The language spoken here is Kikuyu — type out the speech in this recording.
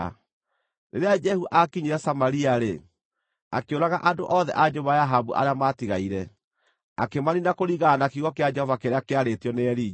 Rĩrĩa Jehu aakinyire Samaria-rĩ, akĩũraga andũ othe a nyũmba ya Ahabu arĩa maatigaire, akĩmaniina kũringana na kiugo kĩa Jehova kĩrĩa kĩarĩtio nĩ Elija.